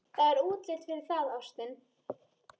Það er útlit fyrir það, ástin.